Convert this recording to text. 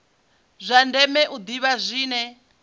zwa ndeme u ḓivha zwine